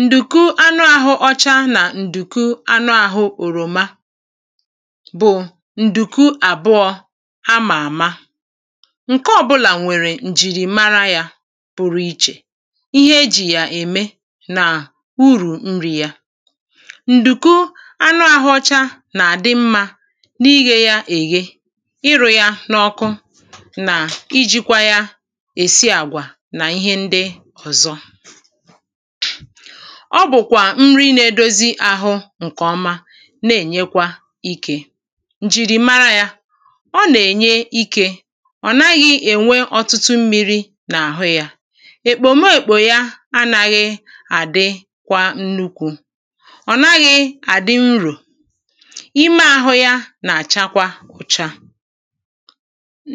Ǹdùku anụahụ̄ ọcha nà ǹdùku anụahụ̄ òròma bụ̀ ǹdùku àbụọ a ma àma ǹke ọbụlà nwèrè ǹjìrìmara yā pụrụ ichè ihe e jì yà ème nà urù nrī yā ǹdùku anụahụ̄ ọcha nà-àdị mmā n’ighē ya èghe ịrụ̄ yá n’ọkụ nà ijīkwā yā èsí àgwà nà ihe ndị ọ̀zọ́ ọ bụ̀kwà nri na-èdozi áhụ̄ ǹkèọma na-ènyekwa ikē ǹjìrìmara yā ọ nà-ènye ikē ọ̀ naghị̄ ènwe ọtụtụ mmīrī n’àhụ́ yā èkpòmekpò yá á nághị̄ àdị́ kwa nnukwū ọ̀ naghị̄ àdị urù ime āhụ̄ yā nà-àchakwa ụ̀cha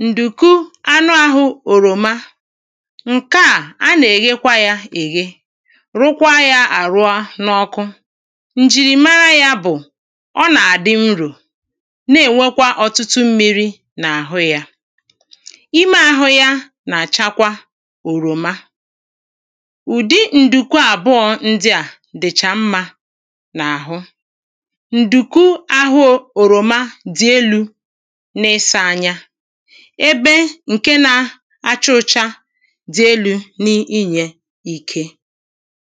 ǹdùku anụāhʊ̄ òròma ǹke à a nà-èghekwa yā èghe rụkwa yā àrụa n’ọkụ ǹjìrìmara yā bụ̀ ọ nà-àdị urù na-ènwekwa ọ̀tụtụ mmirī n’àhụ yā ime ahụ̄ ya nà-àchakwa òròma ụ̀dị ǹdùku àbụọ̄ ndị à dị̀chà mmā n’àhụ ǹdùku ahụ ō òròma dị̀ elū n’ịsā anya ebe ǹke na acha ụ̄chā dì elū n’ịị̀nyé